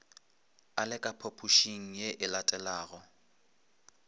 a le ka phaphošingye elatelago